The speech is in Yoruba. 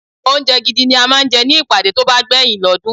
Oúnjẹ gidi la máa ń jẹ ní ìpàdé tó bá gbeyin l'odun.